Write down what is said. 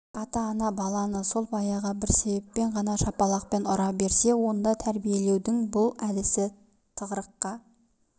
егер ата-ана баланы сол баяғы бір себеппен ғана шапалақпен ұра берсе онда тәрбиелеудің бұл әдісі тығырыққа